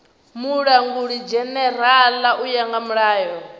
mulangulidzhenerala u ya nga mulayo